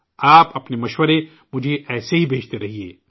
آپ اپنے مشورے مجھے ایسے ہی بھیجتے رہیں